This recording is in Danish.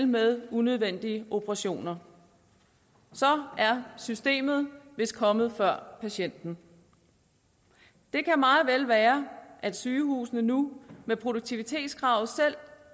med unødvendige operationer så er systemet vist kommet før patienten det kan meget vel være at sygehusene nu med produktivitetskravet selv